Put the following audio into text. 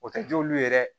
O tɛ juru ye yɛrɛ